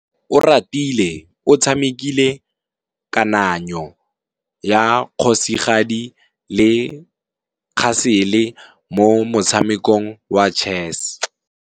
Oratile o tshamekile kananyô ya kgosigadi le khasêlê mo motshamekong wa chess.